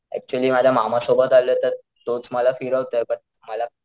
actually माझ्या मामा सोबत आलोय तर तोच मला फिरवतोय बट मला,